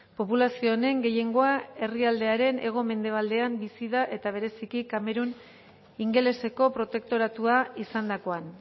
populazio honen gehiengoa herrialdearen hego mendebaldean bizi da eta bereziki kamerun ingeleseko protektoratua izandakoan